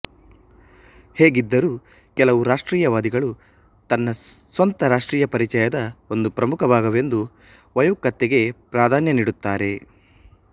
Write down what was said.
ಹೇಗಿದ್ದರೂ ಕೆಲವು ರಾಷ್ಟ್ರೀಯವಾದಿಗಳು ತನ್ನ ಸ್ವಂತ ರಾಷ್ಟ್ರೀಯ ಪರಿಚಯದ ಒಂದು ಪ್ರಮುಖ ಭಾಗವೆಂದು ವೈಯುಕ್ತತೆಗೆ ಪ್ರಾಧಾನ್ಯ ನೀಡುತ್ತಾರೆ